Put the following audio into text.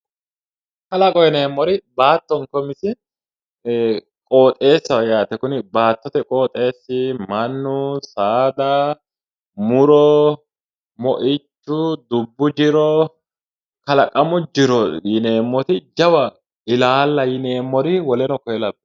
Kalaqo yineemmo woyte baattonke qoxeessi kuni mannu saada minu moychu dubbu jiro Jawa ilaalla yineemmori dubbu jiro